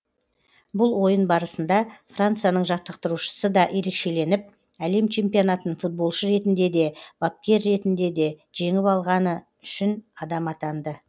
бұл ойын барысында францияның жаттықтырушысы да ерекшеленіп әлем чемпионатын футболшы ретінде де бапкер ретінде де жеңіп алған үшінші адам атанды